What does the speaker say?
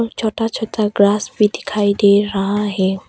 छोटा छोटा ग्रास भी दिखाई दे रहा है।